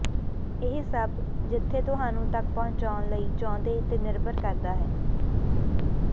ਇਹ ਸਭ ਜਿੱਥੇ ਤੁਹਾਨੂੰ ਤੱਕ ਪਹੁੰਚਣ ਲਈ ਚਾਹੁੰਦੇ ਤੇ ਨਿਰਭਰ ਕਰਦਾ ਹੈ